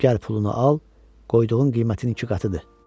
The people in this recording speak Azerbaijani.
Gəl pulunu al, qoyduğun qiymətin iki qatıdır.